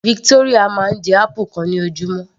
Victoria máa ń jẹ apple kan ní ojúmọ́